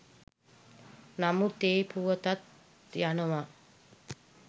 නමුත් ඒ පුවතත් යනව